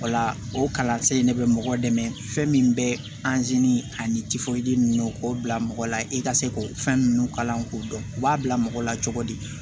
O la o kalansen in ne bɛ mɔgɔ dɛmɛ fɛn min bɛ ani ninnu k'o bila mɔgɔ la i ka se k'o fɛn minnu kalan k'o dɔn u b'a bila mɔgɔ la cogo di